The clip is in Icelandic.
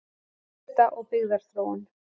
Búseta og byggðaþróun